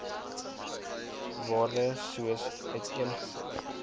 waardes soos uiteengesit